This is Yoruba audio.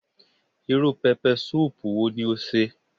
Irú pẹpẹsúùpù wo ni o sè